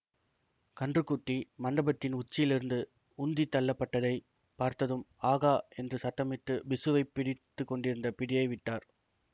கன்றுக்குட்டி மண்டபத்தின் உச்சியிலிருந்து உந்தித் தள்ளப்பட்டதைப் பார்த்ததும் ஆகா என்று சத்தமிட்டுப் பிக்ஷுவைப் பிடித்து கொண்டிருந்த பிடியை விட்டார்